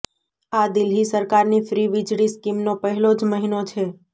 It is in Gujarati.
આ દિલ્હી સરકારની ફ્રી વીજળી સ્કીમનો પહેલો જ મહિનો છે